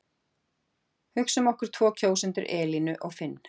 Hugsum okkur tvo kjósendur Elínu og Finn.